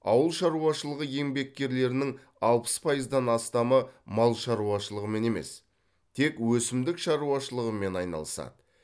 ауыл шаруашылығы еңбеккерлерінің алпыс пайыздан астамы мал шаруашылығымен емес тек өсімдік шаруашылығымен айналысады